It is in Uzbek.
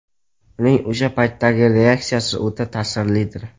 Uning o‘sha paytdagi reaksiyasi o‘ta ta’sirlidir.